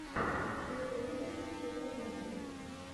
первый выпуск теперь я знаю